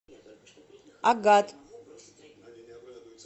агат